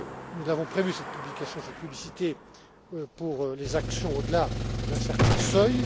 Nous avons prévu cette publication, cette publicité, pour les actions au delà d'un certain